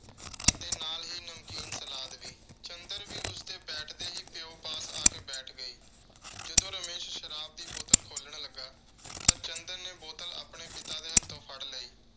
ਅਤੇ ਨਾਲ ਹੀ ਨਮਕੀਨ salad ਵੀ। ਚੰਦਰ ਵੀ ਉਸਦੇ ਬੈਠ ਦੇ ਹੀ, ਪਿਓ ਪਾਸ ਆ ਕੇ ਬੈਠ ਗਈ। ਜਦੋਂ ਰਮੇਸ਼ ਸ਼ਰਾਬ ਦੀ ਬੋਤਲ ਖੋਲ੍ਹਣ ਲੱਗਾ ਤਾਂ ਚੰਦਰ ਨੇ ਬੋਤਲ ਆਪਣੇ ਪਿਤਾ ਦੇ ਹੱਥੋਂ ਫੜ ਲਈ।